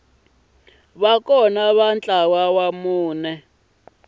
va kona ka ntlawa wa